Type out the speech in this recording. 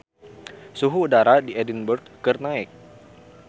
Suhu udara di Edinburg keur naek